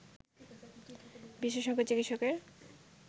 বিশেষজ্ঞ চিকিৎসকের